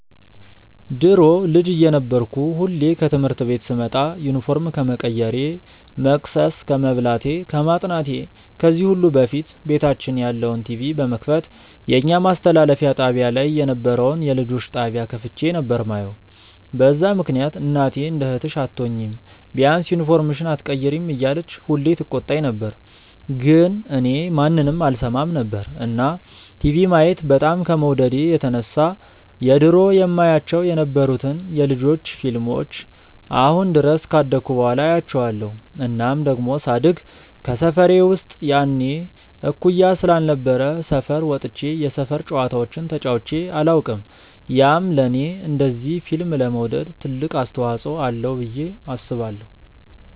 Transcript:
ድሮ ልጅ እየነበርኩ ሁሌ ከትምህርት ቤት ስመጣ ዩኒፎርም ከመቀየሬ፣ መቅሰስ ከመብላቴ፣ ከማጥናቴ ከዚህ ሁሉ በፊት ቤታችን ያለውን ቲቪ በመክፈት የኛ ማስተላለፊያ ጣብያ ላይ የነበረውን የልጆች ጣብያ ከፍቼ ነበር የማየው፤ በዛ ምክንያት እናቴ እንደ እህትሽ አትሆኚም፤ ቢያንስ ዩኒፎርምሽን ኣትቀይሪም እያለች ሁሌ ትቆጣኝ ነበር ግን እኔ ማንንም አልሰማም ነበር። እና ቲቪ ማየት በጣም ከመውደዴ የተነሳ የድሮ የማያቸው የነበሩትን የ ልጆች ፊልሞችን አሁን ድረስ ካደኩ በኋላ አያቸዋለው። እናም ደሞ ሳድግ ከሰፈሬ ውስጥ የኔ እኩያ ስላልነበረ ሰፈር ወጥቼ የሰፈር ጨዋታዎችን ተጫዉቼ ኣላውቅም፤ ያም ለኔ እንደዚ ፊልም ለመውደድ ትልቅ አስተዋፅዎ አለው ብዬ አስባለው።